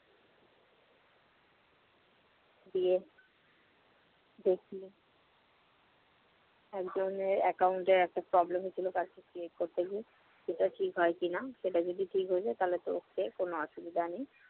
গিয়ে দেখি একজনের account এ একটা problem হচ্ছিল, কাজটা শেয়ার করতে গিয়ে, সেটা ঠিক হয় কিনা, সেটা যদি ঠিক হয়ে যায় তাহলেতো ok কোন অসুবিধা নেই।